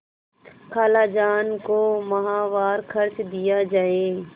खालाजान को माहवार खर्च दिया जाय